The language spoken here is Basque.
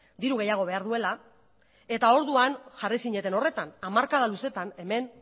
diru gehiago behar duela eta orduan jarri zineten horretan hamarkada luzetan hemen